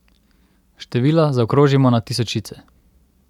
Števila zaokrožimo na tisočice.